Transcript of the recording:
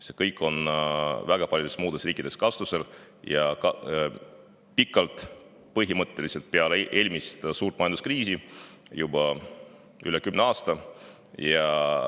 See kõik on väga paljudes muudes riikides kasutusel olnud ja juba pikalt, põhimõtteliselt peale eelmist suurt majanduskriisi, nii et juba üle kümne aasta.